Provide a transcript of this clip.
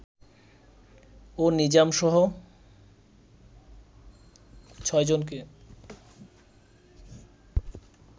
ও নিজামসহ ছয়জনকে